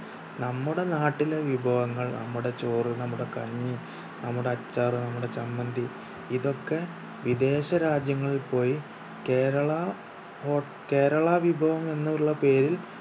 നമ്മുടെ നാട്ടിലെ വിഭവങ്ങൾ നമ്മുടെ ചോറ് നമ്മുടെ കഞ്ഞി നമ്മുടെ അച്ചാർ നമ്മുടെ ചമ്മന്തി ഇതൊക്കെ വിദേശ രാജ്യങ്ങളിൽ പോയി കേരളാ ഹോ കേരളാ വിഭവം എന്ന് ഉള്ള പേരിൽ